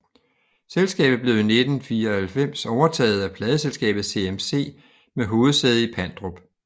Selskabet blev i 1994 overtaget af Pladeselskabet CMC med hovedsæde i Pandrup